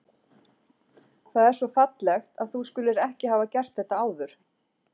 Það er svo fallegt, að þú skulir ekki hafa gert þetta áður.